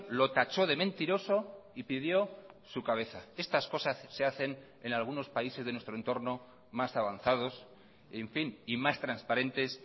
lo tachó de mentiroso y pidió su cabeza estas cosas se hacen en algunos países de nuestro entorno más avanzados en fin y más transparentes